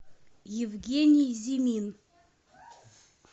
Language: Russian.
евгений зимин